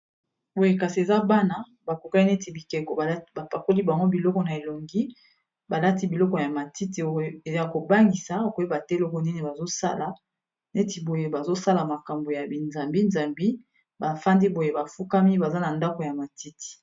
boye kasi eza bana bakokaki neti bikeko bapakoli bango biloko na elongi balati biloko ya matiti yo ya kobangisa koyeba te eloko nini bazosala neti boye bazosala makambo ya bizambizambi bafandi boye bafukami baza na ndako ya matiti